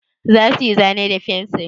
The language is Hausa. Za su yi zane da fensir?